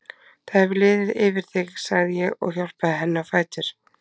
Það hefur liðið yfir þig, sagði ég og hjálpaði henni á fætur.